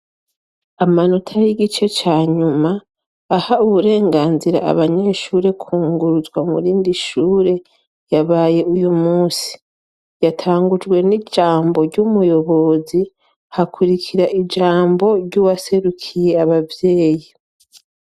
Amanota y'igice ca nyuma aha uburenganzira abanyeshure kwunguruzwa mu rindi shure, yabaye uyu munsi. Yatangujwe n'ijambo ry'umuyobozi, hakurikira ijambo ry'uwaserukiye abavyeyi.